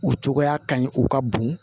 O cogoya ka ɲi o ka bon